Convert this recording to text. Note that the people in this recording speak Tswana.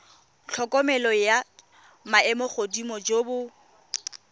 tlhokomelo jwa maemogodimo jo bo